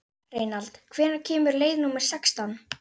Reynald, hvenær kemur leið númer sextán?